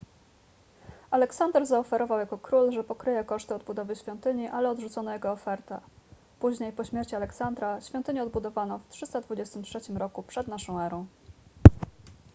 aleksander zaoferował jako król że pokryje koszty odbudowy świątyni ale odrzucono jego ofertę później po śmierci aleksandra świątynię odbudowano w 323 r p.n.e